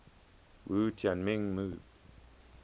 wu tianming moved